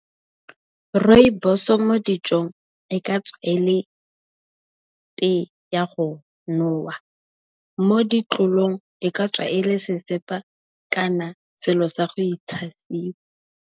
Rooibos mo dijong e ka tswa ele tee ka ya go nowa, mo di tlolong e ka tswa ele sesepa kana selo sa go itshasiwa.